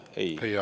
Teie aeg!